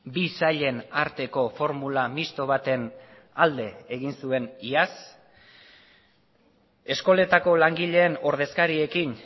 bi sailen arteko formula misto baten alde egin zuen iaz eskoletako langileen ordezkariekin